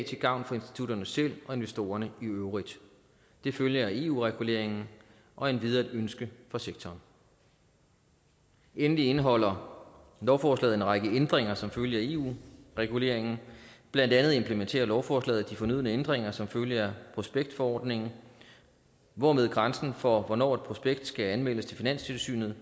til gavn for institutterne selv og investorerne i øvrigt det følger af eu reguleringen og er endvidere et ønske fra sektoren endelig indeholder lovforslaget en række ændringer som følge af eu reguleringen blandt andet implementerer lovforslaget de fornødne ændringer som følge af prospektforordningen hvormed grænsen for hvornår et prospekt skal anmeldes til finanstilsynet